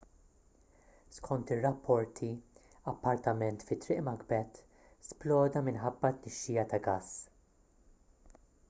skont ir-rapporti appartament fi triq macbeth sploda minħabba tnixxija ta' gass